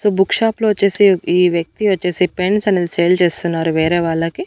So book shop లో వచ్చేసి ఈ వ్యక్తి వచ్చేసి పెన్స్ అన్నది సేల్ చేస్తున్నారు వేరే వాళ్ళకి.